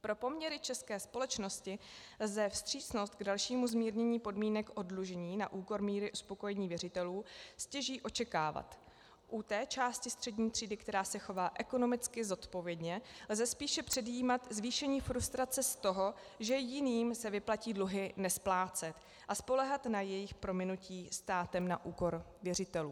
Pro poměry české společnosti lze vstřícnost k dalšímu zmírnění podmínek oddlužení na úkor míry uspokojení věřitelů stěží očekávat u té části střední třídy, která se chová ekonomicky zodpovědně, lze spíše předjímat zvýšení frustrace z toho, že jiným se vyplatí dluhy nesplácet a spoléhat na jejich prominutí státem na úkor věřitelů.